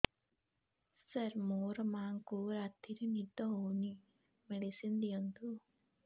ସାର ମୋର ମାଆଙ୍କୁ ରାତିରେ ନିଦ ହଉନି ମେଡିସିନ ଦିଅନ୍ତୁ